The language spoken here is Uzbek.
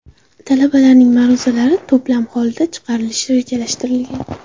Talabalarning ma’ruzalari to‘plam holida chiqarilishi rejalashtirilgan.